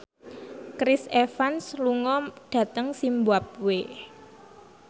Chris Evans lunga dhateng zimbabwe